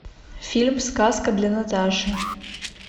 фильм сказка для наташи